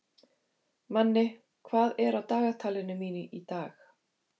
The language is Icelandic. Manni, hvað er á dagatalinu mínu í dag?